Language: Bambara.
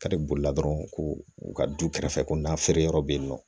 Kari bolila dɔrɔn ko u ka du kɛrɛfɛ ko n'a feere yɔrɔ bɛ yen nɔ